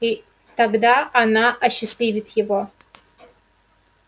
и тогда она осчастливит его